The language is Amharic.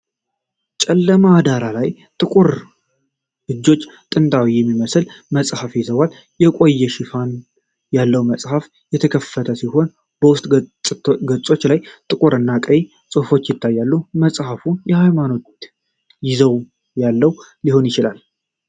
ጨለማ ዳራ ላይ ጥቁር እጆች ጥንታዊ የሚመስል መጽሐፍ ይዘዋል። የቆዳ ሽፋን ያለው መጽሐፉ የተከፈተ ሲሆን የውስጥ ገጾች ላይ ጥቁር እና ቀይ ጽሑፎች ይታያሉ። መጽሐፉ የሃይማኖት ይዘት ያለው ሊሆን ይችላል?